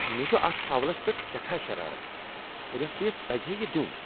مےٚ چھ اتھ فاولس پیٹھ سیٹھاہ شرارت۔ ریفری یس پزِہا یِہ دِیُن۔